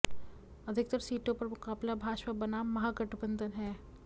अधिकतर सीटों पर मुकाबला भाजपा बनाम महागठबंधन है